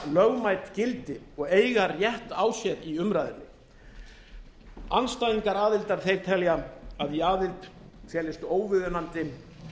lögmætt gildi og eiga rétt á sér í umræðunni andstæðingar aðildar telja að í aðild felist óviðunandi